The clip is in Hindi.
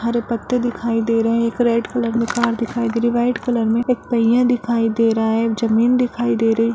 हरे पत्ते दिखाई रहे हैं एक रेड कलर मे कार दिखाई दे रही है व्हाइट कलर में एक पहिया दिखाई दे रहा है और जमीन दिखाई दे रही है।